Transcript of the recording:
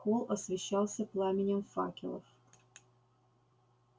холл освещался пламенем факелов